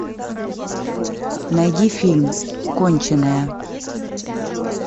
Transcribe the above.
найди фильм конченая